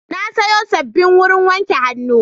Na sayo sabbin wurin wanke hannu.